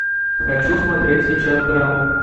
хочу смотреть сейчас драму